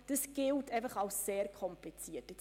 Dieses Modell gilt als sehr kompliziert.